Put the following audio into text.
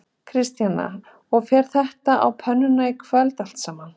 Kristjana: Og fer þetta á pönnuna í kvöld allt saman?